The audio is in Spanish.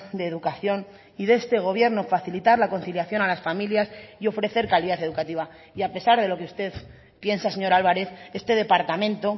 de educación y de este gobierno facilitar la conciliación a las familias y ofrecer calidad educativa y a pesar de lo que usted piensa señor álvarez este departamento